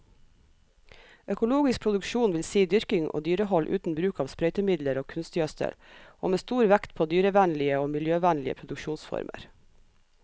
Økologisk produksjon vil si dyrking og dyrehold uten bruk av sprøytemidler og kunstgjødsel, og med stor vekt på dyrevennlige og miljøvennlige produksjonsformer.